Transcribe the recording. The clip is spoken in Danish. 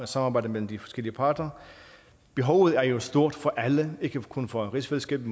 samarbejde mellem de forskellige parter behovet er jo stort for alle ikke kun for rigsfællesskabet